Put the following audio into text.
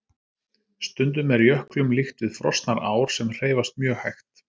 Stundum er jöklum líkt við frosnar ár sem hreyfast mjög hægt.